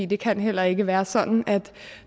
det kan heller ikke være sådan at